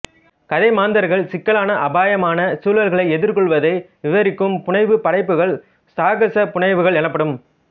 கதை மாந்தர்கள் சிக்கலான அபாயமான சூழல்களை எதிர்கொள்ளுவதை விவரிக்கும் புனைவுப் படைப்புகள் சாகசப் புனைவுகள் எனப்படும்